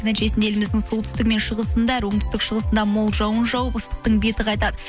нәтижесінде еліміздің солтүстігі мен шығысында оңтүстік шығысында мол жауын жауып ыстықтың беті қайтады